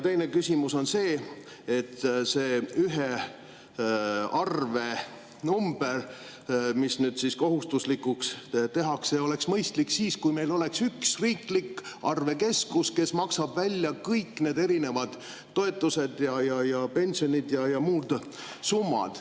Teine küsimus on see, et see üks arvenumber, mis nüüd kohustuslikuks tehakse, oleks mõistlik siis, kui meil oleks üks riiklik arvekeskus, kes maksab välja kõik need erinevad toetused, pensionid ja muud summad.